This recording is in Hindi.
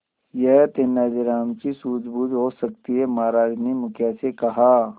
यह तेनालीराम की सूझबूझ हो सकती है महाराज ने मुखिया से कहा